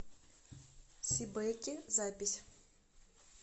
сибэкки запись